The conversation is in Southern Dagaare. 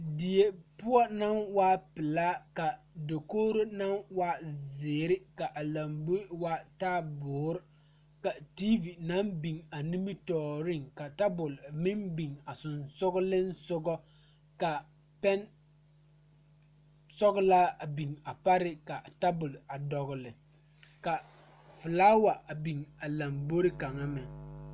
Die puo ba ba zeŋ leɛ la ba puori ko zie ba naŋ daare bayi zeŋ ta la teŋa bata vɔgle la sapele naŋ waa peɛle bonyene vɔgle sapele naŋ e sɔglɔ ba taa la ba tontuma boma kaa waa lanbare ka.